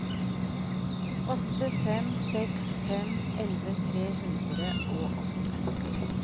åtte fem seks fem elleve tre hundre og åtte